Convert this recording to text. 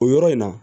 O yɔrɔ in na